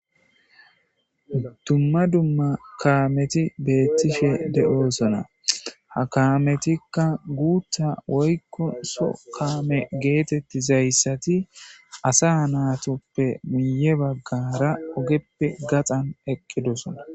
dumma dumma kaameti beettishe de7oosona ha kaametikka guutta woykko so kaame geetetti zayssati asa naatoppe muye baggara ogeppe gaxan eqqidosona